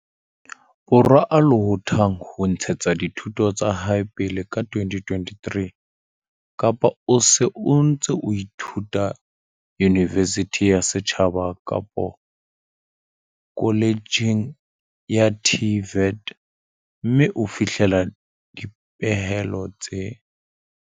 Borwa a lohothang ho ntshetsa dithuto tsa hae pele ka 2023 kapa o se o ntse o ithuta yunivesithing ya setjhaba kapa koletjheng ya TVET mme o fihlella dipehelo tse